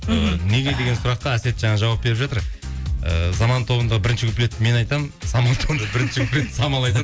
неге деген сұраққа әсет жаңа жауап беріп жатыр і заман тобында бірінші куплетті мен айтамын самал тобында бірінші куплетті самал айтады